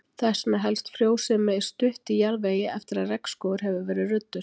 Þess vegna helst frjósemi stutt í jarðvegi eftir að regnskógur hefur verið ruddur.